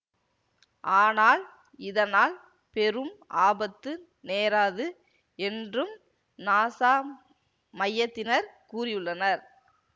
ஆனால் இதனால் பெரும் ஆபத்து நேராது என்றும் நாசா மையத்தினர் கூறியுள்ளனர்